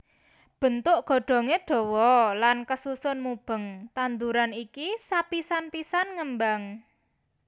Bentuk godhongé dawa lan kasusun mubeng tanduran iki sapisan pisan ngembang